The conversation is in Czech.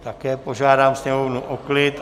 Také požádám sněmovnu o klid.